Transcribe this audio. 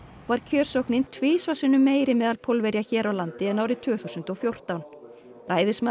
var kjörsóknin tvisvar sinnum meiri meðal Pólverja hér á landi en árið tvö þúsund og fjórtán